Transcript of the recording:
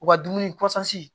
U ka dumuni kɔsi